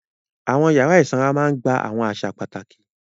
Àwọn yàrá ìsanra máa ń gba àwọn àṣà pàtàkì.